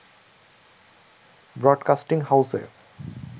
broadcasting হাউসে